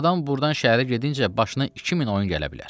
Adam burdan şəhərə gedincə başına 2000 oyun gələ bilər.